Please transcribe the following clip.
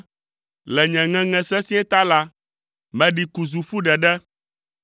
Le nye ŋeŋe sesĩe ta la, meɖi ku zu ƒu ɖeɖe.